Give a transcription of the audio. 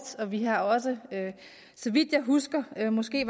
og vi har også så vidt jeg husker var det måske